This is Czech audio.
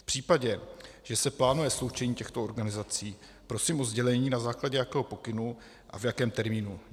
V případě, že se plánuje sloučení těchto organizací, prosím o sdělení, na základě jakého pokynu a v jakém termínu.